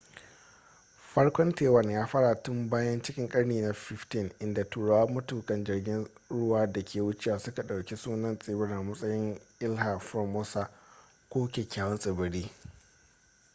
farkon taiwan ya faro tun baya cikin karni na 15 inda turawa matukan jirgin ruwa da ke wucewa suka ɗauki sunan tsibirin a matsayin iiha formosa ko kyakyawan tsibiri